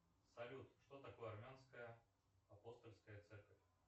салют что такое армянская апостольская церковь